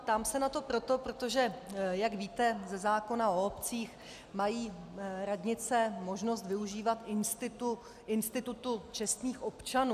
Ptám se na to proto, protože jak víte, ze zákona o obcích mají radnice možnost využívat institutu čestných občanů.